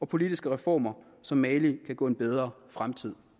politiske reformer så mali kan gå en bedre fremtid